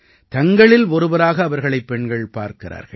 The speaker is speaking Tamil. தங்களில் ஒருவராக அவர்களைப் பெண்கள் பார்க்கிறார்கள்